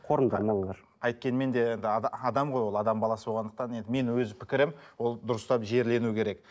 қайткенмен де енді адам ғой ол адам баласы болғандықтан енді мен өз пікірім ол дұрыстап жерлену керек